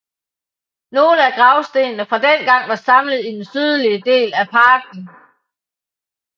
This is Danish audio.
Nogle af gravstenene fra dengang er samlet i den sydlige del af parken